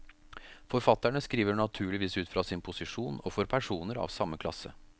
Forfatterne skriver naturligvis ut fra sin posisjon, og for personer av samme klasse.